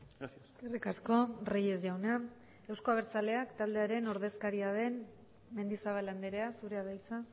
gracias eskerrik asko reyes jauna euzko abertzaleak taldearen ordezkaria den mendizabal andrea zurea da hitza